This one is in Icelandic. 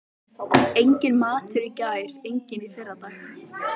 Enginn matur í gær, enginn í fyrradag.